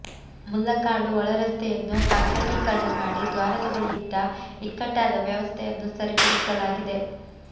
ಮುಲ್ಲಕಾಡು ಒಳರಸ್ತೆಯನ್ನು ಕಾಂಕ್ರಟೀಕರಣ ಮಾಡಿ ದ್ವಾರದ ಬಳಿ ಇದ್ದ ಇಕ್ಕಟ್ಟಾದ ವ್ಯವಸ್ಥೆಯನ್ನು ಸರಿಪಡಿಸಲಾಗಿದೆ